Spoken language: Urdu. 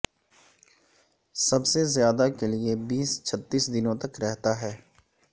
سب سے زیادہ کے لئے یہ بیس چھ تیس دنوں تک رہتا ہے